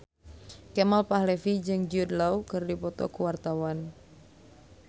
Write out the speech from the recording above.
Kemal Palevi jeung Jude Law keur dipoto ku wartawan